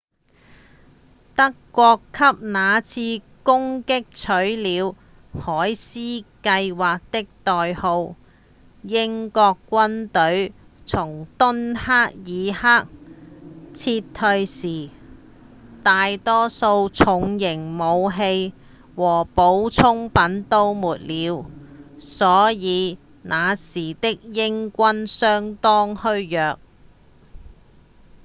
德國給那次攻擊取了「海獅計畫」的代號英國軍隊從敦克爾克撤退時大多數的重型武器和補給品都沒了所以那時的英軍相當虛弱